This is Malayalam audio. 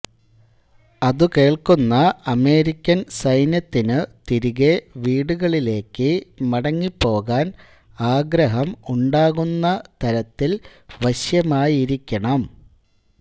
അതു കേൾക്കുന്ന അമേരിക്കൻ സൈനൃത്തിനു തിരികെ വിടുകളിലെക്ക് മടങ്ങിപോകാൻ ആഗ്രഹം ഉണ്ടാകുന്ന തരത്തിൽ വശൃമായിരിക്കണം